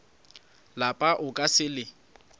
lapa o ka se le